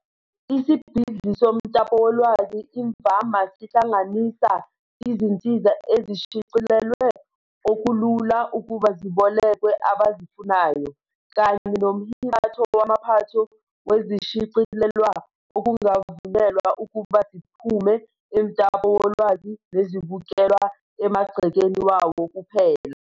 Isibhidli somtapowolwazi imvama sihlanganisa izinsiza ezishicilelwe okulula ukuba zibolekwe abazifunayo, kanye nomhibatho wamaphatho wezishicilelwa okungavunyelwe ukuba ziphume emtapolwazi nezibukelwa emagcekeni wawo kuphela.